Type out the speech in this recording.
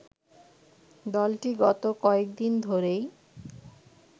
দলটি গত কয়েক দিন ধরেই